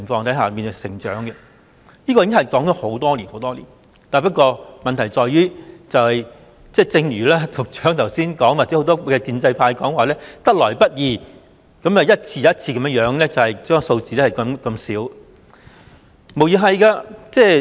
這項建議已提出了很多年，不過，問題在於局長和很多建制派議員經常說侍產假得來不易，然後一次又一次逐少地增加侍產假日數。